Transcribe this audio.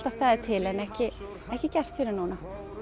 staðið til en ekki ekki gerst fyrr en núna